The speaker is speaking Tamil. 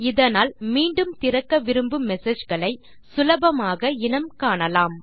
இதனால் மீண்டும் திறக்க விரும்பும் மெசேஜ் களை சுலபமாக இனம் காணலாம்